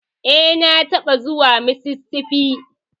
E, na taɓa zuwa Mississippi.